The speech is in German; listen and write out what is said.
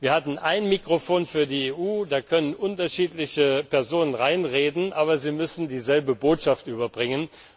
Wir hatten ein Mikrofon für die EU, da können unterschiedliche Personen hineinreden, aber sie müssen dieselbe Botschaft überbringen.